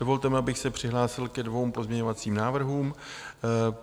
Dovolte mi, abych se přihlásil ke dvěma pozměňovacím návrhům.